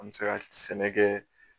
An bɛ se ka sɛnɛ kɛ